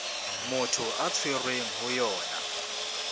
motho a tshwerweng ho yona